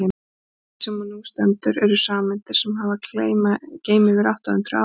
metið sem nú stendur eru sameindir sem hafa að geyma yfir átta hundruð atóm